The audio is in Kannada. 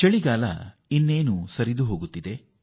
ಚಳಿಗಾಲ ಈಗ ಮರಳುವ ಮಾರ್ಗದಲ್ಲಿದೆ